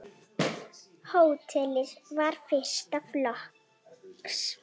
Hótelið var fyrsta flokks.